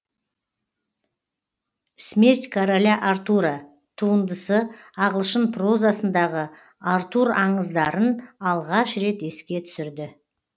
смерть короля артура туындысы ағылшын прозасындағы артур аңыздарын алғаш рет еске түсірді